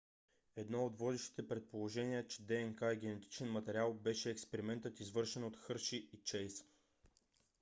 едно от водещите предположения че днк е генетичен материал беше експериментът извършен от хърши и чейс